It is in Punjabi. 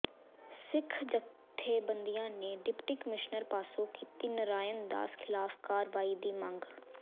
ਸਿੱਖ ਜਥੇਬੰਦੀਆਂ ਨੇ ਡਿਪਟੀ ਕਮਿਸ਼ਨਰ ਪਾਸੋਂ ਕੀਤੀ ਨਰਾਇਣ ਦਾਸ ਖਿਲਾਫ ਕਾਰਵਾਈ ਦੀ ਮੰਗ